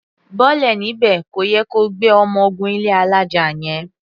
Bọ́lẹ̀ níbẹ̀! Kò yẹ ko gbé ọmọ gun ilé alája yẹn.